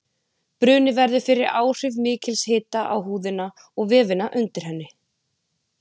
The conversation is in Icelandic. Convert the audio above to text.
Bruni verður fyrir áhrif mikils hita á húðina og vefina undir henni.